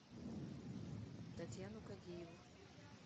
татьяну кадиеву